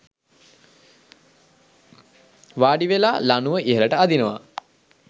වාඩිවෙලා ලණුව ඉහළට අදිනවා.